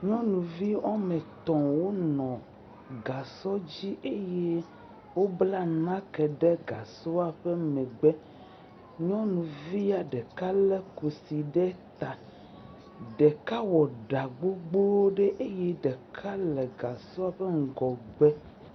Nyɔnuvi woame tɔ̃ wonɔ gasɔ dzi. Eye wobla nake ɖe gasɔa ƒe megbe. Nyɔnua ɖeka lé kusi ɖe ta. Ɖeka ɖɔ ɖa gbogboo ɖe eye ɖeka le gasɔɔ ƒe ŋgɔgbe.